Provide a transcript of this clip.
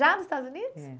Já nos Estados Unidos? É